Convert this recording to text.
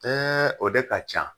o de ka can.